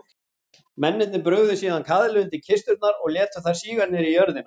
Mennirnir brugðu síðan kaðli undir kisturnar og létu þær síga niður í jörðina.